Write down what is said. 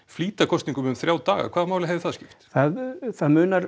flýta kosningum um þrjá daga hvaða máli skiptir það það munar